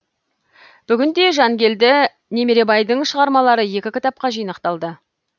бүгінде жангелді немеребайдың шығармалары екі кітапқа жинақталды